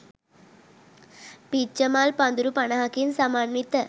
පිච්චමල් පඳුරු පනහකින් සමන්විත